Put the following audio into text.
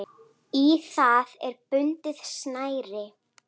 Í það er bundið snæri.